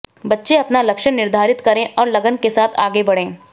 बच्चे अपना लक्ष्य निर्धारित करें और लगन के साथ आगे बढ़ें